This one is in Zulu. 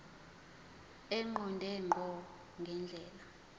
eqonde ngqo ngendlela